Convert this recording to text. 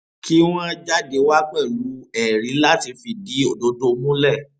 kí wọn jáde wá pẹlú ẹrí láti fìdí òdodo múlẹ